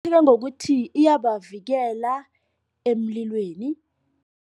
Ngokuthi iyabavikele emlilweni.